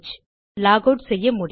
lock out செய்ய முடியும்